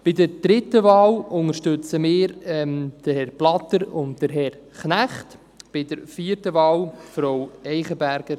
Bei der dritten Wahl unterstützen wir Herrn Blatter und Herrn Knecht, bei der vierten Wahl Frau Caroline Eichenberger.